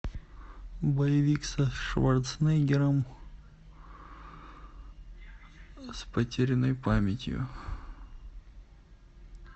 боевик со шварценеггером с потерянной памятью